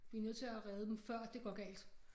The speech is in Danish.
Vi nødt til at redde dem før det går galt